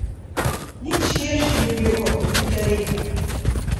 Nič širši ni bil od Velike reke.